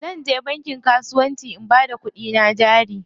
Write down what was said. Zanje bankin kasuwanci na bada kuɗina jari.